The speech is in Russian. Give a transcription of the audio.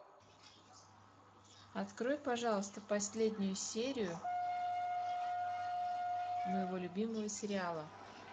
открой пожалуйста последнюю серию моего любимого сериала